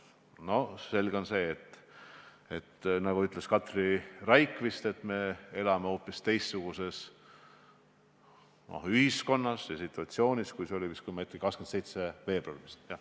Selge on see, nagu Katri Raik vist ütles, et me elame hoopis teistsuguses ühiskonnas ja situatsioonis, kui elasime – kui ma ei eksi – 27. veebruaril.